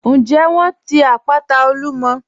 Ǹjẹ wọ́n ti àpàtà Olúmọ̀?